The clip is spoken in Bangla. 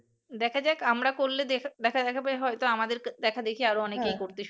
দেখা যাক আমরা করলে দেখা যাবে হয়তো আমাদের দেখাদেখি আরো অনেকেই করবে